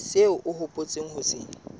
seo o hopotseng ho se